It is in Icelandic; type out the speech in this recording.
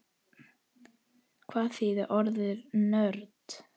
Hvað þýðir orðið nörd?